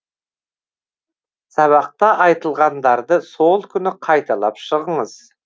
сабақта айтылғандарды сол күні қайталап шығыңыз